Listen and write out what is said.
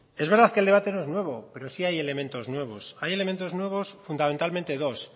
es verdad que el debate no es nuevo pero sí hay elementos nuevos hay elementos nuevos fundamentalmente dos